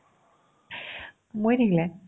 মৰি থাকিলে